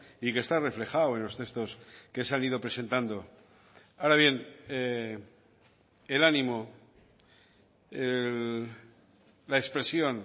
y que está reflejado en los textos que se han ido presentando ahora bien el ánimo la expresión